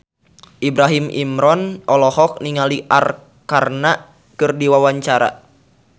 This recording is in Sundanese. Ibrahim Imran olohok ningali Arkarna keur diwawancara